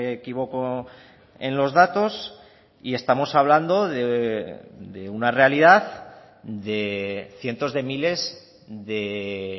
equivoco en los datos y estamos hablando de una realidad de cientos de miles de